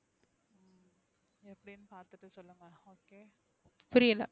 புரியல,